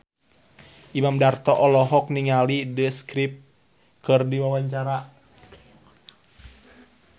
Imam Darto olohok ningali The Script keur diwawancara